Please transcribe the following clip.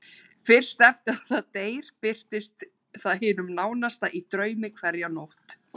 Fyrst eftir að það deyr birtist það hinum nánasta í draumi hverja nótt.